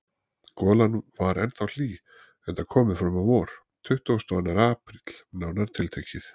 Golan var ennþá hlý, enda komið fram á vor: tuttugasti og annar apríl, nánar tiltekið.